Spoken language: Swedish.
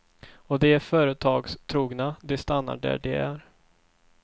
Och de är företagstrogna, de stannar där de är.